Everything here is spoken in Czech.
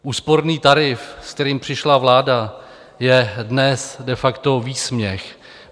Úsporný tarif, se kterým přišla vláda, je dnes de facto výsměch.